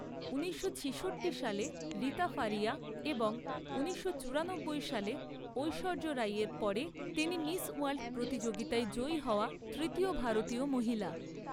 ঊনিশশো ছিষট্টি সালে রীতা ফারিয়া এবং ঊনিশশো চুরানব্বই সালে, ঐশ্বর্য রাই এর পরে তিনি মিস ওয়ার্ল্ড প্রতিযোগিতায় জয়ী হওয়া তৃতীয় ভারতীয় মহিলা।